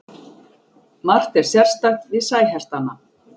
Margt er sérstakt við sæhestana.